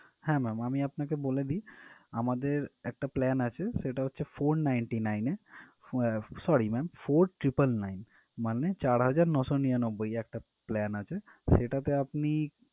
হ্যাঁ ma'am আমি আপনাকে বলে দিই আমাদের একটা plan আছে সেটা হচ্ছে four ninety nine এ আহ sorry ma'am four triple nine মানে চার হাজার নয়শো নিরানব্বই এ একটা plan আছে সেটা আপনি